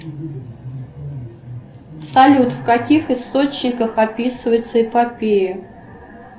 салют в каких источниках описывается эпопея